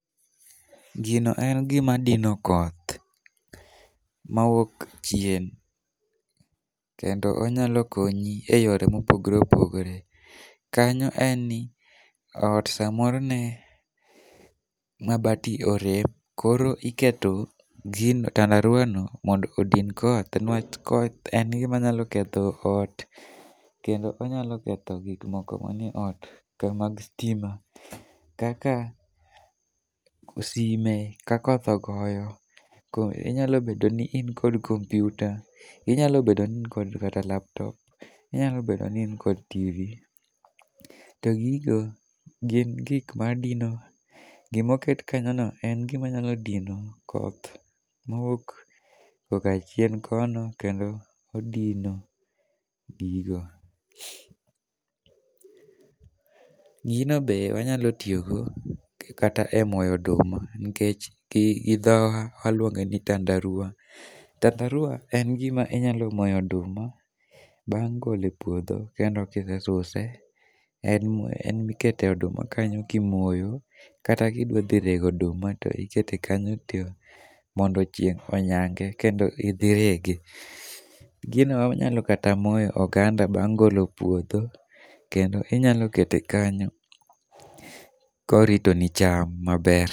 Gino en gima dino koth mawuok chien kendo onyalo konyi eyore mopogore opogore. Kanyo en ni ot samoro ne mabati orem koro iketo gino tandaruwa no mondo odin koth newach koth en gima nyalo ketho ot kendo onyalo ketho gik moko man e ot ka mag sitima kaka sime ka koth ogoyo inyalo bedo ni in kod kompiuta, inyalo bedo ni in kod kata laptop, inyalo bedo ni in kod TV, to gin gik ma dino. Gima oket kanyono en gima nyalo dino koth mawuok korka chien kono kend odino gigo. Gino be wanyalo tiyo go kata emoyo oduma nikech gi dhowa waluonge ni tandaruwa. Tandaruwa en gima inyalo moye oduma bang' golo e puodho kendo ka isee suse. En emikete oduma kanyo ka imoyo, kata ka idwa dhi rego oduma to iketo kanyo to modo chieng' onyange kendo idhi irege. Gino wanyalo kata moye oganda bang' golo e puodho kendo inyalo keto kanyo korito ni cham maber.